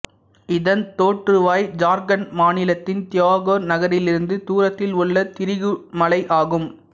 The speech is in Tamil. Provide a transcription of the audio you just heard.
இதன் தோற்றுவாய் ஜார்கண்ட் மாநிலத்தின் தியோகர் நகரிலிருந்து தூரத்தில் உள்ள திரிகுற் மலை ஆகும்